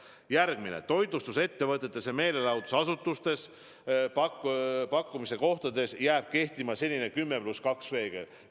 Järgmine: toitlustusettevõtetes ja meelelahutusasutustes, teenuste pakkumise kohtades jääb kehtima senine 10 + 2 reegel.